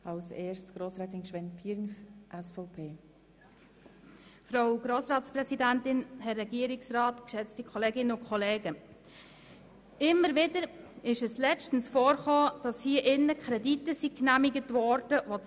In letzter Zeit geschah es immer wieder, dass hier im Grossen Rat Kredite genehmigt wurden, bei denen das Geld bereits verwendet worden war.